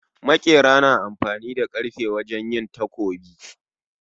Maƙira na amfani da karfe wajen yin takobi